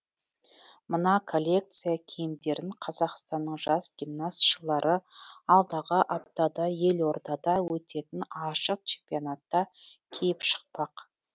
мына коллекция киімдерін қазақстанның жас гимнастшылары алдағы аптада елордада өтетін ашық чемпионатта киіп шықпақ